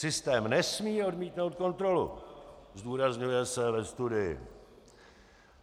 Systém nesmí odmítnout kontrolu, zdůrazňuje se ve studii.